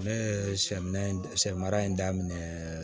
Ne ye sɛminɛ sɛmara in daminɛ